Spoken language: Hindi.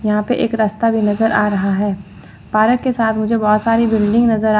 यहां पे एक रास्ता भी नजर आ रहा है पारक के साथ मुझे बहोत सारी बिल्डिंग नजर आ--